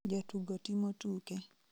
jatugo timo tuke